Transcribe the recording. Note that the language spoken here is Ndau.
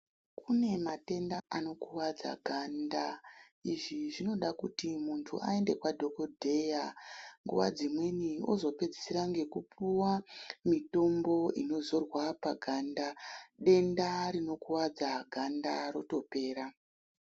Kune matenda anokuwadza ganda zvinenge zvichida kuti muntu aende kwadhokoteya nguwa dzimweni ozopedzisira ngekupuwa mitombo inozorwa paganda denda rinokuwadza ganda rotopera.